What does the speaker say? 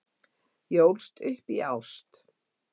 Ég ólst upp í ást.